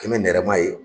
Kɛn bɛ nɛrɛma ye